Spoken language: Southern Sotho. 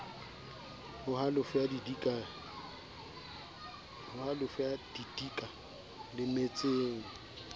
ho halofo ya didika lemetseng